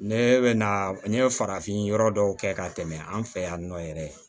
Ne bɛ na n ye farafin yɔrɔ dɔw kɛ ka tɛmɛ an fɛ yan nɔ yɛrɛ